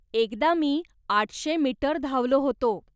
एकदा मी आठशे मीटर धावलो होतो